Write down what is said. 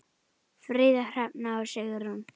Fríða, Hrefna og Sigrún.